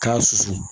K'a susu